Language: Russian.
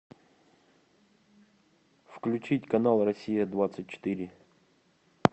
включить канал россия двадцать четыре